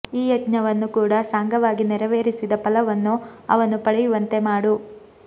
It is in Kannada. ಈ ಯಜ್ಞವನ್ನು ಕೂಡ ಸಾಂಗವಾಗಿ ನೆರವೇರಿಸಿದ ಫಲವನ್ನು ಅವನು ಪಡೆಯುವಂತೆ ಮಾಡು